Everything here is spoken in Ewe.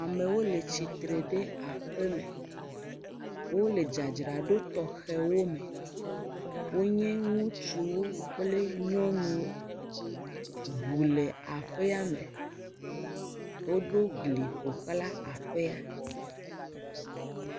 Amewo le tsitre ɖe aƒeme, wole dzadzra ɖo tɔxewo me, wo nye ŋutsuwo kple nyɔnuwo, ʋu le aƒeame, wo ɖo gli woxlã aƒea.